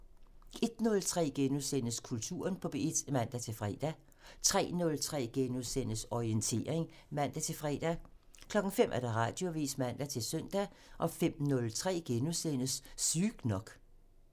01:03: Kulturen på P1 *(man-tor) 03:03: Orientering *(man-fre) 05:00: Radioavisen (man-søn) 05:03: Sygt nok *(man)